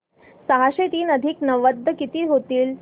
सहाशे तीन अधिक नव्वद किती होतील